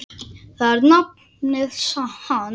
Það er nafnið hans.